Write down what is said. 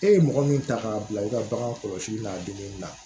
E ye mɔgɔ min ta k'a bila i ka bagan kɔlɔsi n'a donni na